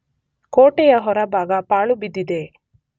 ಕೋಟೆಯ ಹೊರಭಾಗ ಪಾಳು ಬಿದ್ದಿದೆ.